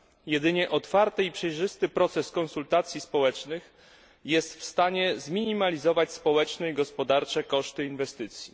Jedynie otwarty i przejrzysty proces konsultacji społecznych jest w stanie zminimalizować społeczne i gospodarcze koszty inwestycji.